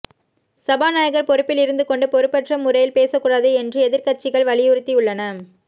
சபாநாயகர் பொறுப்பில் இருந்து கொண்டு பொறுப்பற்ற முறையில் பேசக்கூடாது என்று எதிர்க்கட்சிகள் வலியுறுத்தியுள்ளன